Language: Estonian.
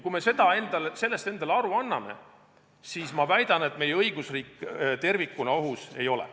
Kui me sellest endale aru anname, siis – ma väidan – meie õigusriik tervikuna ohus ei ole.